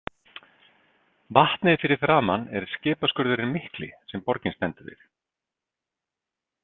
Vatnið fyrir framan er skipaskurðurinn mikli sem borgin stendur við.